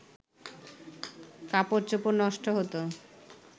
কাপড়চোপড় নষ্ট হতো